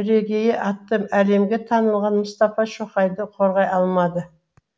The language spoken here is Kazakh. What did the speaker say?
бірегейі аты әлемге танылған мұстафа шоқайды қорғай алмады